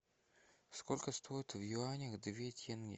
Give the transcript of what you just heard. сколько стоит в юанях две тенге